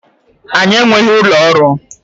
Anyị enweghị ụlọ ọrụ